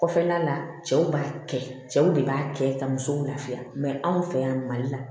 Kɔfɛla la cɛw b'a kɛ cɛw de b'a kɛ ka musow lafiya anw fɛ yan mali la